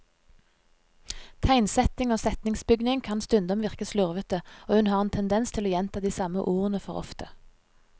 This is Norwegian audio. Tegnsetting og setningsbygning kan stundom virke slurvete, og hun har en tendens til å gjenta de samme ordene for ofte.